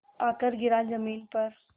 आकर गिरा ज़मीन पर